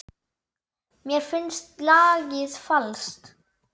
Mér finnst lagið falskt.